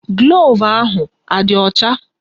Gloovu ahụ adị ọcha?